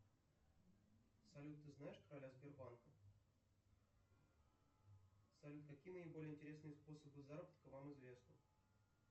салют ты знаешь короля сбербанка салют какие наиболее интересные способы заработка вам известны